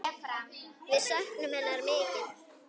Við söknum hennar mikið.